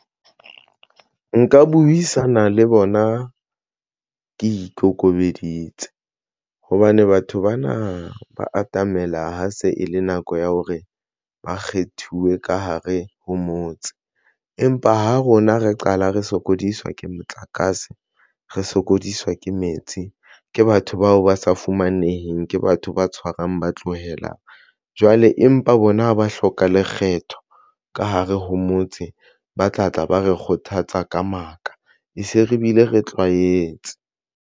Nka buisana le bona ke ikokobeditse hobane batho bana ba atamela. Ha se e le nako ya hore ba kgethuwe ka hare ho motse empa ha rona re qala re sokodiswa ke motlakase re sokodiswa ke metsi ke batho bao ba sa fumaneheng ke batho ba tshwarang ba tlohela jwale, empa bona ba hloka lekgetho ka hare ho motse, ba tla tla ba re kgothatsa ka maka, e se re bile re tlwaetse.